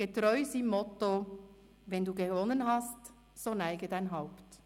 Getreu seinem Motto: «Wenn du gewonnen hast, so neige dein Haupt.»